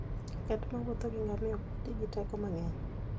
Ng'at mowuotho gi ngamia ok ti gi teko mang'eny.